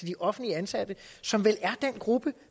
de offentligt ansatte som vel er den gruppe